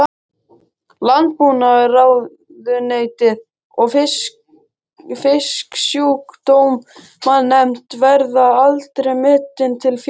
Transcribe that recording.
Landbúnaðarráðuneytið og Fisksjúkdómanefnd, verða aldrei metin til fjár.